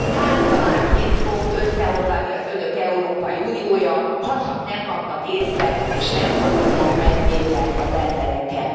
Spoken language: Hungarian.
Kártyavárként fog összeomlani az Önök Európai Uniója, hacsak nem kapnak észbe és nem hallgatják meg végre az embereket.